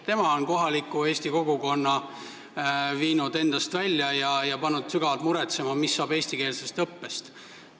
Tema on kohaliku eesti kogukonna viinud endast välja ja pannud sügavalt muretsema, mis saab eestikeelsest õppest.